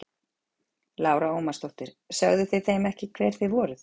Lára Ómarsdóttir: Sögðuð þið þeim ekki hver þið voruð?